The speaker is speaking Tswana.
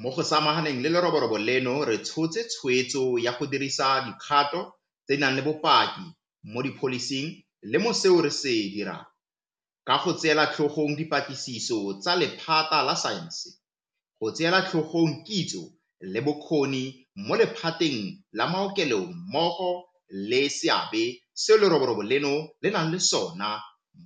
Mo go samaganeng le leroborobo leno re tshotse tshweetso ya go dirisa dikgato tse di nang le bopaki mo dipholising le mo seo re se dirang, ka go tseela tlhogong dipatlisiso tsa lephata la saense, go tseela tlhogong kitso le bokgoni mo le phateng la maokelo mmogo le seabe seo leroborobo leno le nnang le sona